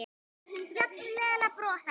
Jafnvel að brosa.